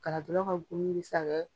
Galadonnaw ka gomin mi se ka kɛ